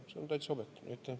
See on täitsa objektiivne.